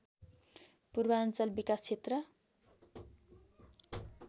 पूर्वाञ्चल विकाश क्षेत्र